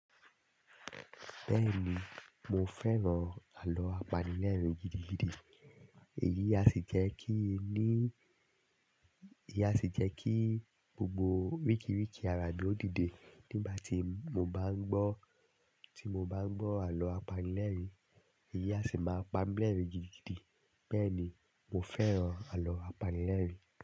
Bẹ́ẹ̀ni, mo fẹ́ràn àlọ́ apanilẹ́rìn gidigidi. Èyí a sì jẹ́ kí ní, èyí a sì jẹ́ kí gbogbo rikiriki arami o dìde nígbà tí mo bá ń gbọ́, tí mo bá ń gbọ́ àlọ́ apanilẹ́rìn, èyí a sì máa pa mí lẹ́rìn gidigidi. Bẹ́ẹ̀ni, mo fẹ́ràn àlọ́ apanilẹ́rìn.